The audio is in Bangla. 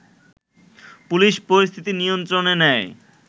পুলিশ পরিস্থিতি নিয়ন্ত্রণে নেয়